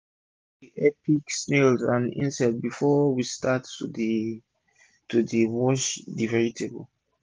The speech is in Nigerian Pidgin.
d pikin dem dey help pick snail and insects before we start to dey to dey wash d vegetable